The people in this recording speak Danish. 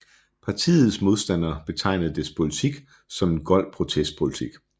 Partiets modstandere betegnede dets politik som en gold protestpolitik